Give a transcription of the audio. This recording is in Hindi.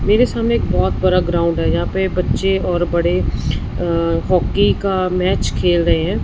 मेरे सामने एक बहोत बरा ग्राउंड है जहां पे बच्चे और बड़े अ हॉकी का मैच खेल रहे हैं।